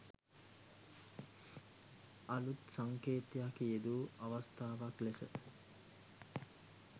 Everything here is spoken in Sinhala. අලුත් සංකේතයක් යෙදූ අවස්ථාවක් ලෙස